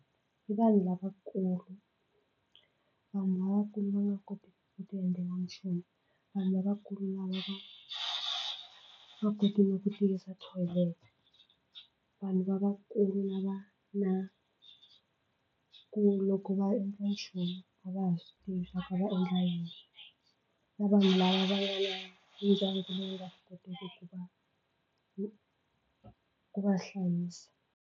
I vanhu lavakulu vanhu lavakulu va nga koteki ku tiendlela nchumu vanhu lavakulu lava va nga kotiki na ku tiyisa thoyilete vanhu lavakulu lava na ku loko va nchumu a va ha swi tivi swa ku a va endla yini na vanhu lava va nga ndyangu lowu nga swi koteki ku va ku va hlayisa.